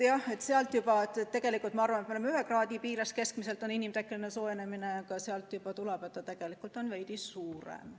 Jah, ma arvan, et inimtekkeline soojenemine on meie teada keskmiselt ühe kraadi piires, aga sealt juba selgub, et see tegelikult on veidi suurem.